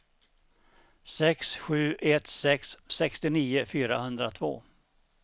sex sju ett sex sextionio fyrahundratvå